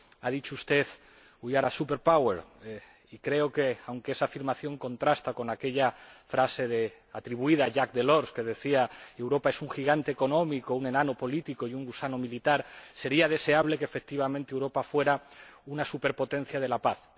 Ha dicho usted y creo que, aunque esa afirmación contrasta con aquella frase, atribuida a Jaques Delors, que decía que Europa es un gigante económico, un enano político y un gusano militar, sería deseable que, efectivamente, Europa fuera una superpotencia de la paz.